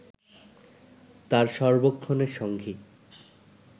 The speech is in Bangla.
তাঁর সর্বক্ষণের সঙ্গী